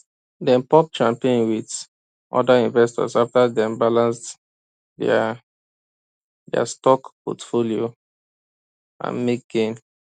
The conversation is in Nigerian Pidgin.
dem pop champagne with other investors after dem balance their their stock portfolio and make gain